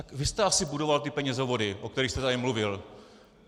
Tak vy jste asi budoval ty penězovody, o kterých jste tady mluvil.